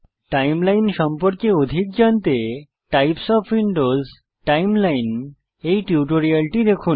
timeline সম্পর্কে অধিক জানতে টাইপস ওএফ উইন্ডোজ টাইমলাইন এই টিউটোরিয়ালটি দেখুন